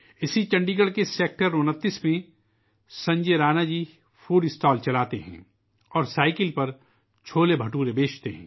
چنڈی گڑھ کے سیکٹر 29 میں، سنجے رانا جی کا ایک فوڈ اسٹال ہے اور وہ اپنی سائیکل پر چھولے بھٹورے بیچتے ہیں